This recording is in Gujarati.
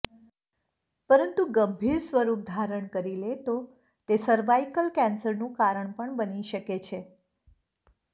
પરંતુ ગંભીર સ્વરૂપ ધારણ કરી લે તો તે સરવાઈકલ કેન્સરનું કારણ પણ બની શકે છે